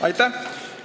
Aitäh!